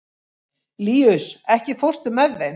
Líus, ekki fórstu með þeim?